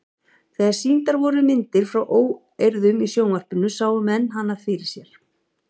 Þegar sýndar voru myndir frá óeirðum í sjónvarpinu sáu menn hana fyrir sér.